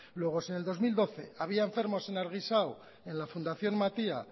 luego si en el dos mil doce había enfermos en argixao en la fundación matia